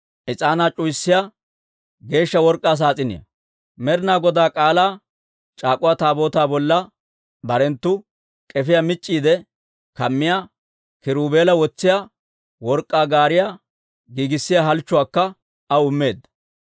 is'aanaa c'uwayiyaa geeshsha work'k'aa saas'iniyaa. Med'inaa Godaa K'aalaa c'aak'uwa Taabootaa bolla barenttu k'efiyaa mic'c'iide kammiyaa, kiruubela wotsiyaa work'k'aa gaariyaa giigissiyaa halchchuwaakka aw immeedda.